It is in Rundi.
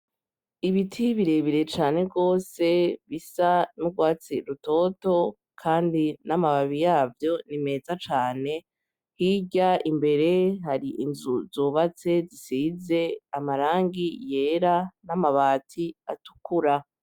Ibiti birebire cane gose bisa n'urwatsi rutoto kandi n'amababi yavyo ni meza cane hirya imbere hari inzu zubatse zisize amarangi yera n'amabati atukura.